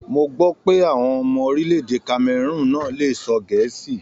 Mó gbọ pé àwọn ọmọ orílẹ̀-èdè Kameroon náà lè sọ gẹ̀ẹ́si.